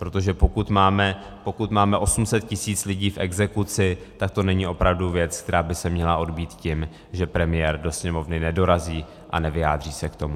Protože pokud máme 800 tisíc lidí v exekuci, tak to není opravdu věc, která by se měla odbýt tím, že premiér do Sněmovny nedorazí a nevyjádří se k tomu.